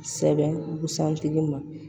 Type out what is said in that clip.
Sɛbɛn busan tigi ma